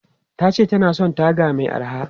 Ta ce ta na son taga mai araha.